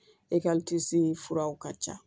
furaw ka ca